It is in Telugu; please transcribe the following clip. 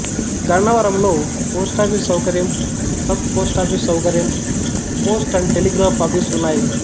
గన్నవరంలో పోస్టాఫీసు సౌకర్యం సబ్ పోస్టాఫీసు సౌకర్యం పోస్ట్ అండ్ టెలిగ్రాఫ్ ఆఫీసు ఉన్నాయి